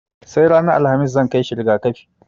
Sai ranar Alhamis zan kai shi riga-kafi.